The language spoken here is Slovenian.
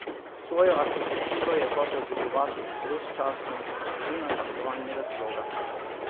Svojo arhitekturo je hotel oblikovati brezčasno, zunaj aktualnega sloga.